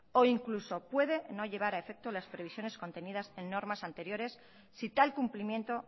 o incluso puede no llevar a efecto las previsiones contenidas en normas anteriores si tal cumplimiento